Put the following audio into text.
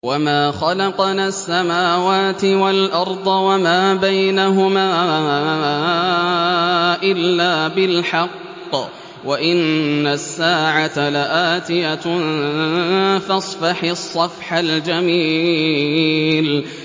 وَمَا خَلَقْنَا السَّمَاوَاتِ وَالْأَرْضَ وَمَا بَيْنَهُمَا إِلَّا بِالْحَقِّ ۗ وَإِنَّ السَّاعَةَ لَآتِيَةٌ ۖ فَاصْفَحِ الصَّفْحَ الْجَمِيلَ